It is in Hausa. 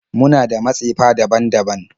Muna da matsefa daban-daban